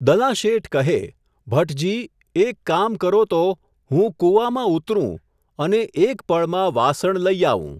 દલાશેઠ કહે, 'ભટજી ! એક કામ કરો તો, હું કુવામાં ઊતરું અને એક પળમાં વાસણ લઈ આવું.